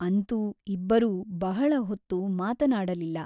ಅಂತೂ ಇಬ್ಬರೂ ಬಹಳ ಹೊತ್ತು ಮಾತನಾಡಲಿಲ್ಲ.